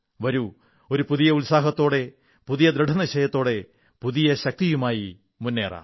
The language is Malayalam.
വരൂ ഒരു പുതിയ ഉത്സാഹത്തോടെ പുതിയ ദൃഢനിശ്ചയത്തോടെ പുതിയ ശക്തിയുമായി മുന്നേറാം